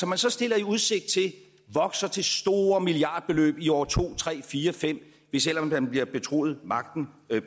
man så stiller i udsigt vokser til store milliardbeløb i år to tre fire fem hvis ellers man bliver betroet magten